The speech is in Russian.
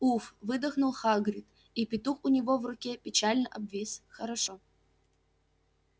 уф выдохнул хагрид и петух у него в руке печально обвис хорошо